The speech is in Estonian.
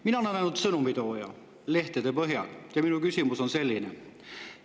Mina olen ainult nende lehtede sõnumi tooja ja minu küsimus on selline.